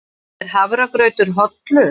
Er hafragrautur hollur?